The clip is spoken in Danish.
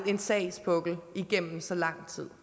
en sagspukkel igennem så lang tid